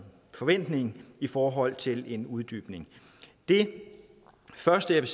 forventning i forhold til en uddybning det første jeg